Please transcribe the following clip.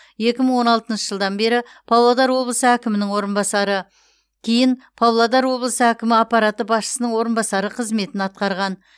екі мың он алтыншы жылдан бері павлодар облысы әкімінің орынбасары кейін павлодар облысы әкімі аппараты басшысының орынбасары қызметін атқарған